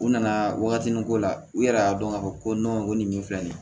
U nana waagati ko la u yɛrɛ y'a dɔn k'a fɔ ko ko nin min filɛ nin ye